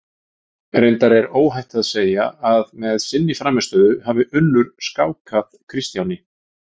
Reyndar er óhætt að segja að með sinni frammistöðu hafi Unnur skákað Kristjáni.